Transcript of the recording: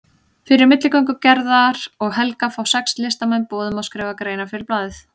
Fyrir milligöngu Gerðar og Helga fá sex listamenn boð um að skrifa greinar fyrir blaðið.